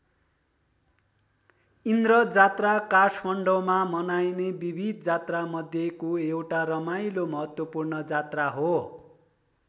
इन्द्रजात्रा काठमाडौँमा मनाइने विविध जात्रा मध्येको एउटा रमाइलो महत्त्वपूर्ण जात्रा हो।